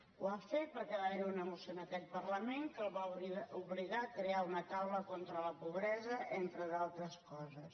ho ha fet perquè va haver hi una moció en aquest parlament que el va obligar a crear una taula contra la pobresa entre altres coses